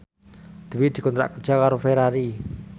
Dwi dikontrak kerja karo Ferrari